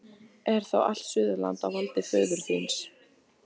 Er þá allt Suðurland á valdi föður þíns?